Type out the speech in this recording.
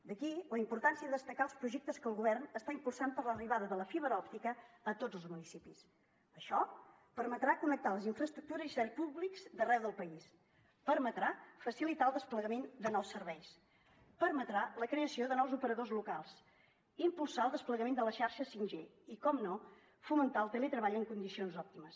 d’aquí la importància de destacar els projectes que el govern està impulsant per a l’arribada de la fibra òptica a tots els municipis això permetrà connectar les infraestructures i serveis públics d’arreu del país permetrà facilitar el desplegament de nous serveis permetrà la creació de nous operadors locals impulsar el desplegament de la xarxa 5g i per descomptat fomentar el teletreball en condicions òptimes